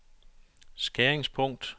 skæringspunkt